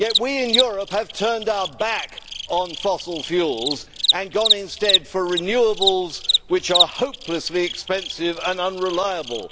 Yet we in Europe have turned our back on fossil fuels and gone instead for renewables, which are hopelessly expensive and unreliable.